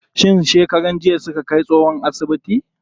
Shin shekaran jiya suka kai tsohon asibiti?